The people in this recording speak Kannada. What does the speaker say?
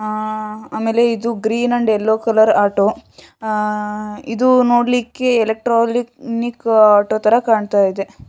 ಆಮೇಲೆ ಇದು green and yellow colour auto ಇದು ನೋಡ್ಲಿಕ್ಕೆ ಎಲೆಕ್ಟ್ರಾನಿಕ್ ಆಟೋತರ ಕಾಣ್ತಾ ಇದೆ.